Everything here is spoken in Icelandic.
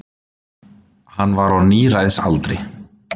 Hann var á níræðisaldri.